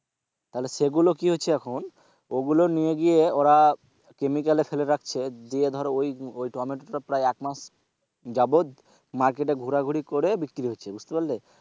তাহলে সেগুলো কি হচ্ছে এখন ওগুলো নিয়ে গিয়ে ওরা chemical এ ফেলে রাখছে দিয়ে ধর ঐ টমেটোটা প্রায় এক মাস যাবত market এ ঘোরাঘুরি করে বিক্রি হচ্ছে বুঝতে পারলে?